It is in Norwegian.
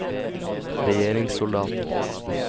regjeringssoldater